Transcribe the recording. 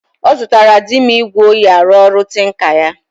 Ọzụtara dim igwe onyi arụ ọrụ tinker ya